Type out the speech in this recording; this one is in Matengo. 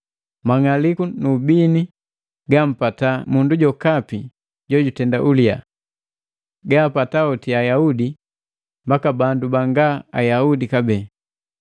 Mang'aliku nu ubini gampata mundu jokapi jojutenda ulia. Gaapata hoti Ayaudi mbaka bandu banga Ayaudi kabee.